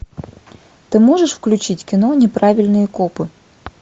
ты можешь включить кино неправильные копы